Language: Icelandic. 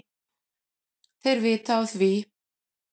Þeir vita af því,